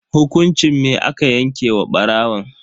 Hukunci me aka yanke wa barawon?